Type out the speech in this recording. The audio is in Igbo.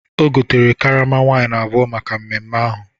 O gotere karama waịn abụọ maka mmemme ahụ.